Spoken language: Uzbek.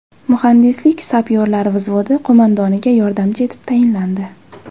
Muhandislik-sapyorlar vzvodi qo‘mondoniga yordamchi etib tayinlandi.